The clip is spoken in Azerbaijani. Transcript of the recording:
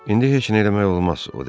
İndi heç nə eləmək olmaz, o dedi.